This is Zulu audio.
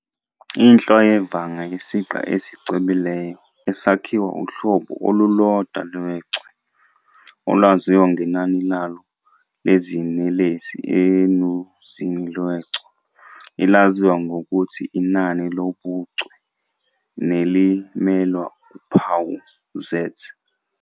Inhlwa yevanga yisiqa esicwebileyo esakhiwa uhlobo olulodwa lechwe, olwaziwa ngenani lalo lezinelesi enuzini lechwe, elaziwa ngokuthi inani lobuchwe nelimelelwa uphawu "Z".